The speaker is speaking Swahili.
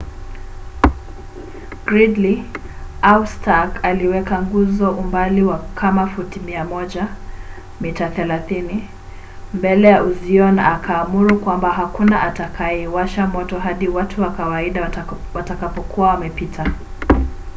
gridley au stark aliweka nguzo umbali wa kama futi 100 mita 30 mbele ya uzio na akaamuru kwamba hakuna atakayeiwasha moto hadi watu wa kawaida watakapokuwa wameipita